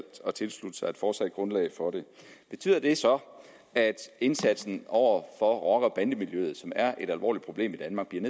at tilslutte sig et fortsat grundlag for det betyder det så at indsatsen over for rocker og bandemiljøet som er et alvorligt problem i danmark bliver